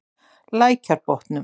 Lækjarbotnum